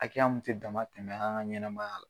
Akɛya mun tɛ damatɛmɛ an ka ɲɛnamaya la.